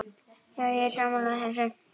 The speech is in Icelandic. Já, ég er sammála þessu.